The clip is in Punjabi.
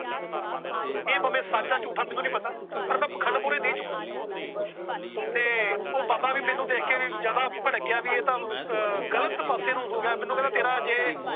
ਇਹ ਭਾਵੇ ਸੱਚ ਏ ਝੂਠ ਏ ਮੈਨੂੰ ਨਹੀਂ ਪਤਾ। ਪਰ ਮੈ ਪਖੰਡ ਮੂਹਰੇ ਨਹੀਂ ਝੂਕਣਾ। ਤੇ ਉਹ ਬਾਬਾ ਵੀ ਮੈਨੂੰ ਵੇਖ ਕੇ ਜ਼ਿਆਦਾ ਭੜਕ ਗਿਆ। ਇਹ ਤਾਂ ਗ਼ਲਤ ਪਾਸੇ ਨੂੰ ਹੋ ਗਿਆ ਮੈਨੂੰ ਕਹਿੰਦਾ ਤੇਰਾ ਜੇ